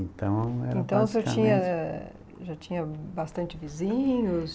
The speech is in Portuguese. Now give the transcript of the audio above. Então, era basicamente... Então, o senhor tinha já tinha bastante vizinhos?